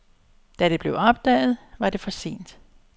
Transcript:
Da det blev opdaget, var det for sent.